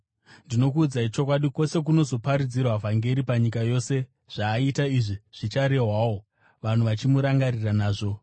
Ndinokuudzai chokwadi, kwose kunozoparidzwa vhangeri panyika yose, zvaaita izvi zvicharehwawo, vanhu vachimurangarira nazvo.”